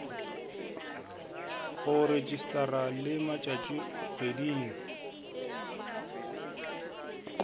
go rejistarwa le mo tšatšikgweding